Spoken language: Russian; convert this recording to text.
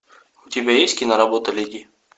у тебя есть киноработа леди